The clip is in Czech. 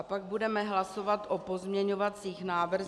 A pak budeme hlasovat o pozměňovacích návrzích -